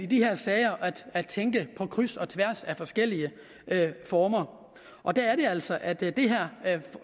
de her sager at tænke på kryds og tværs af forskellige former og der er det altså at det